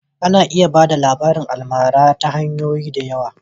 A na iya ba da labarin almara ta hanyoyi da yawa